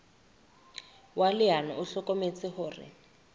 wa leano o hlokometse hore